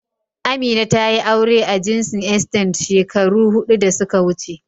Amina tayi aure a jinsin "Extended " shekaru hudu da suka wuce.